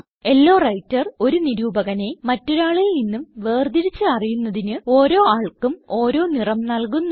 law വ്രൈട്ടർ ഒരു നിരൂപകനെ മറ്റൊരാളിൽ നിന്നും വേർതിരിച്ച് അറിയുന്നതിന് ഓരോ ആൾക്കും ഓരോ നിറം നല്കുന്നു